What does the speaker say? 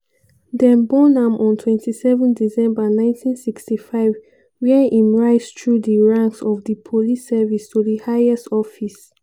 dem born am on 27 december 1965 wia im rise thru di ranks of di police service to di highest office.